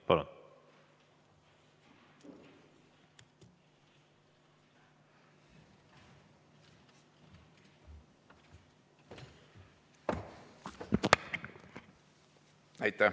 Palun!